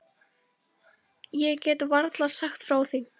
LANDSHÖFÐINGI: Ég get varla sagt frá því.